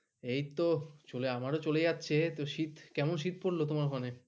এই তো আমার ও চলে যাচ্ছে শীত কেমন শীত পড়লো তোমার ওখানে?